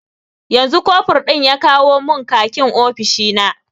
Yanzu kofur ɗin ya kawo mun khakin ofishina